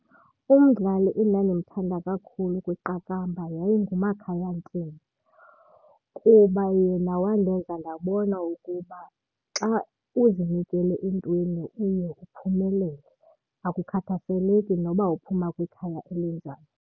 Umdlali endandimthanda kakhulu kwiqakamba yayinguMakhaya Ntini kuba yena wandenza ndabona ukuba xa uzinikele entweni uye uphumelele, akukhathaseleki noba uphuma kwikhaya elinjani.